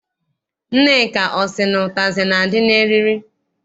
Nneka ọ sị na ụtazị na- adị n'eriri?